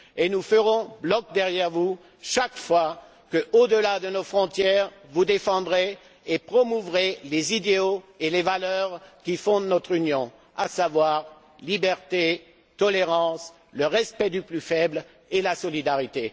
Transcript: Enfin, nous ferons bloc derrière vous chaque fois que, au delà de nos frontières, vous défendrez et promouvrez les idéaux et les valeurs qui fondent notre Union, à savoir la liberté, la tolérance, le respect du plus faible et la solidarité.